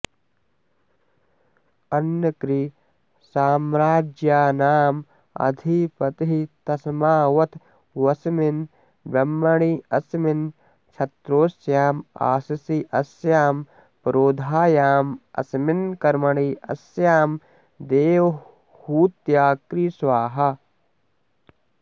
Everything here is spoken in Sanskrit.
ॐ अन्नकृ साम्राज्यानामधिपतिस्तस्माऽवत्वस्मिन् ब्रह्मण्यस्मिन् क्षत्रोस्यामाशिष्यस्यां पुरोधायामस्मिन् कर्मण्यस्यां देवहूत्याकृ स्वाहा